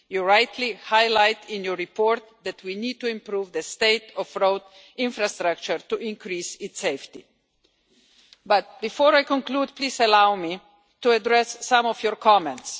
You rightly highlight in your report that we need to improve the state of road infrastructure to increase its safety. But before I conclude, please allow me to address some of your comments.